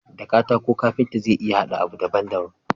Da katako kanfita zai iya hada abu daban daban